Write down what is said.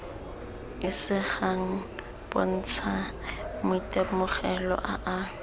isegang bontsha maitemogelo a a